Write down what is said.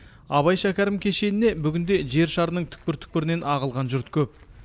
абай шәкәрім кешеніне бүгінде жер шарының түкпір түкпірінен ағылған жұрт көп